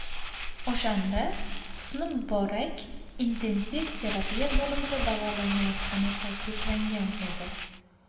O‘shanda Husni Muborak intensiv terapiya bo‘limida davolanayotgani ta’kidlangan edi.